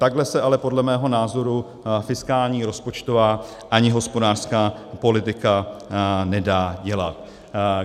Takhle se ale podle mého názoru fiskální rozpočtová ani hospodářská politika nedá dělat.